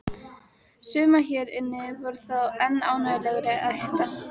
Suma hér inni var þó enn ánægjulegra að hitta!